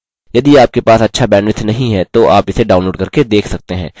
यदि आपके पास अच्छा bandwidth नहीं है तो आप इसे download करके देख सकते हैं